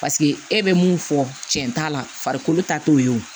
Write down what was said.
Paseke e bɛ mun fɔ cɛn t'a la farikolo ta t'o ye